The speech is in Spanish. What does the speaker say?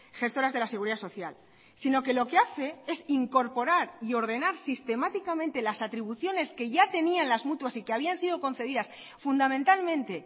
gestoras de la seguridad social sino que lo que hace es incorporar y ordenar sistemáticamente las atribuciones que ya tenían las mutuas y que habían sido concedidas fundamentalmente